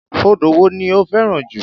Odò wo ni o fẹ́ràn jù?